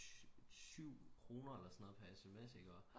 7 kroner eller sådan noget pr SMS